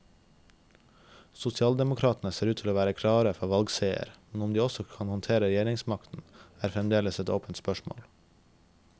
Sosialdemokratene ser ut til å være klare for valgseier, men om de også kan håndtere regjeringsmakten, er fremdeles et åpent spørsmål.